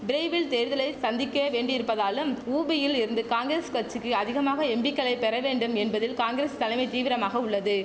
பிரைவில் தேர்தலை சந்திக்க வேண்டியிருப்பதாலும் உபியில் இருந்து காங்கிரஸ் கட்சிக்கு அதிகமான எம்பிக்களை பெற வேண்டும் என்பதில் காங்கிரஸ் தலைமை தீவிரமாக உள்ளது